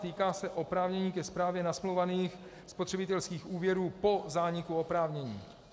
Týká se oprávnění ke správě nasmlouvaných spotřebitelských úvěrů po zániku oprávnění.